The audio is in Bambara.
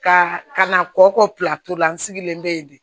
Ka ka na kɔ kɔla n sigilen bɛ yen de